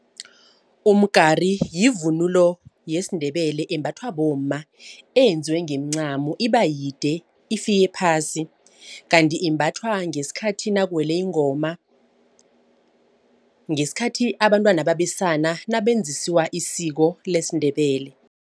Umgari yivunulo yesiNdebele embathwa bomma eyenziwe ngeemncamo ibayide ifike phasi. Kanti imbathwa ngesikhathi nakuwele ingoma. Ngesikhathi abantwana babesana nabenzisiwa isiko lesiNdebele.